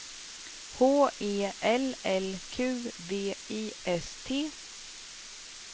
H E L L Q V I S T